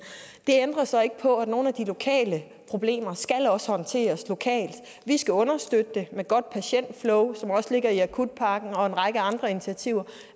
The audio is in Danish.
det ændrer så ikke på at nogle af de lokale problemer skal håndteres lokalt vi skal understøtte det med godt patientflow som også ligger i akutpakken og en række andre initiativer